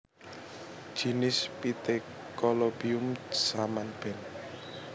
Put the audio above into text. Jinis Pithecolobium saman Benth